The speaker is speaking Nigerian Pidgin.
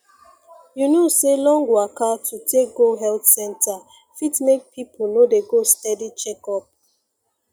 you know say long waka to take go health center fit make people no dey go steady checkup